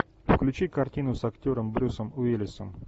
включи картину с актером брюсом уиллисом